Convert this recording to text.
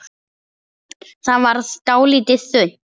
Það varð dálítið þunnt.